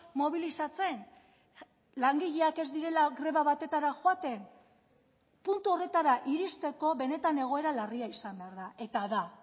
mobilizatzen langileak ez direla greba batetara joaten puntu horretara iristeko benetan egoera larria izan behar da eta da